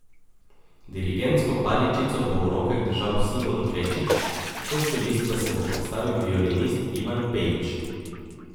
Dirigentsko paličico bo v rokah držal Simon Krečič, kot solist pa se bo predstavil violinist Ivan Pejić.